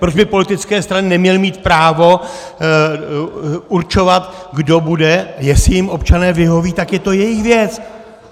Proč by politické strany neměly mít právo určovat, kdo bude, jestli jim občané vyhoví, tak je to jejich věc.